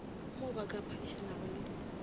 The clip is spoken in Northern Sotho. mo ba ka phadišanago le